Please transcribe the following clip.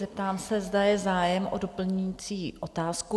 Zeptám se, zda je zájem o doplňující otázku?